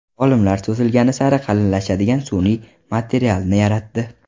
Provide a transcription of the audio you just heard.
Olimlar cho‘zilgani sari qalinlashadigan sun’iy materialni yaratdi.